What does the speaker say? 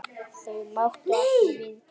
Þau máttu ekki við því.